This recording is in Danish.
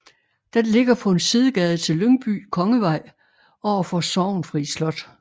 Den ligger på en sidegade til Lyngby Kongevej overfor Sorgenfri Slot